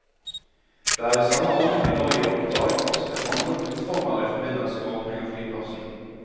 Det er i samme ånd vi nå gir oppdrag også til andre kunstformer i forbindelse med åpningen av flyplassen.